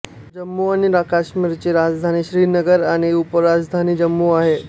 जम्मू आणि काश्मीरची राजधानी श्रीनगर आणि उपराजधानी जम्मू आहे